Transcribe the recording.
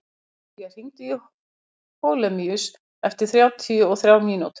Silla, hringdu í Holemíus eftir þrjátíu og þrjár mínútur.